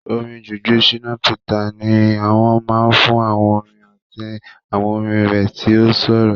Orin Juju Shina Peters ni wọ́n mọ̀ fún àwọn orin àti àwọn orin rẹ̀ tí ó ṣòro.